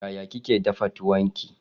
Yaya kike dafa tuwon ki?